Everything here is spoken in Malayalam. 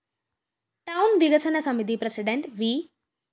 ടൌൺ വികസന സമിതി പ്രസിഡന്റ് വി